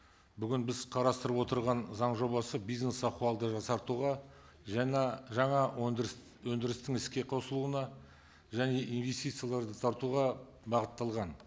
бүгін біз қарастырып отырған заң жобасы бизнес ахуалды жақсартуға жаңа жаңа өндіріс өнідірістің іске қосылуына және инвестицияларды тартуға бағытталған